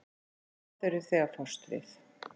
og hvað eruð þið að fást við?